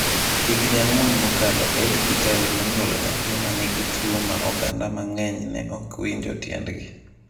Higni ang'wen mokalo, Elly Kitaly nonyuolo nyathi ma nigi tuwo ma oganda mang'eny ne ok winjo tiendgi.